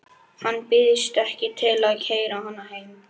Hann býðst ekki til að keyra hana heim.